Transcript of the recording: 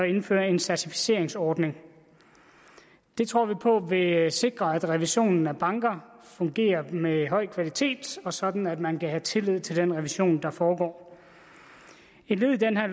indføre en certificeringsordning det tror vi på vil sikre at revisionen af banker fungerer med høj kvalitet og sådan at man kan have tillid til den revision der foregår et led i det her